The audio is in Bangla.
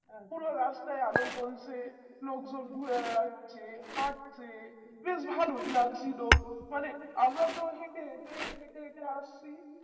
পুর রাস্তায় আলো জ্বলছে লোকজন ঘুরে বেড়াচ্ছে হাটছে বেশ ভালই লাগছিল মানে আমরা তো হেটে হেটে হেটে হেটে আসছি